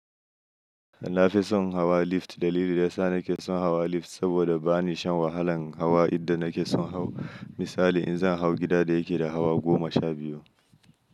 Na fi son hawa lift. Dalili da ya sa na ke son hawa lift saboda ba ni shan wahalan hawa idan na ke son hau misali in zan hau gida da yake da hawa goma sha biyu.